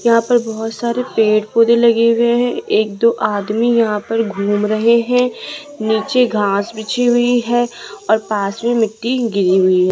यहां पर बहोत सारे पेड़ पौधे लगे हुए हैं एक दो आदमी यहां पर घूम रहे हैं नीचे घास बिछी हुई है और पास में मिट्टी गिरी हुई है।